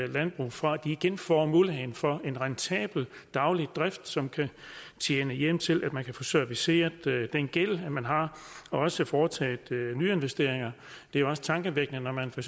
landbrug for at de igen får muligheden for en rentabel daglig drift som kan tjene hjem til at man kan få serviceret den gæld man har og også foretage nyinvesteringer det er også tankevækkende når man for